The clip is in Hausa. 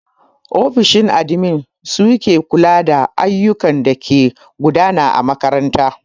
Ofishin admin su ke kula da ayyukan dake gudana a makaranta.